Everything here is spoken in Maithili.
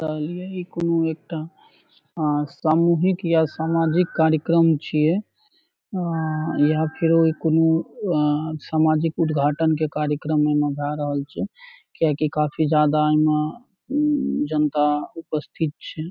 ते यही कुनु एकटा आ सामूहिक या सामाजिक कार्यक्रम छीये या फेरो कुनू अ सामाजिक उद्घाटन के कार्यक्रम एमे भेए रहल छै किया की काफी ज्यादा एमे जनता उपस्थित छै।